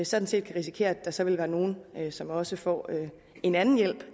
sådan set kan risikere at der så vil være nogle som også får en anden hjælp